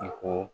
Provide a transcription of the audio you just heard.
I ko